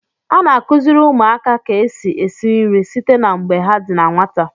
A na-akụziri ụmụaka ka esi esi nri site na mgbe ha di na nwata.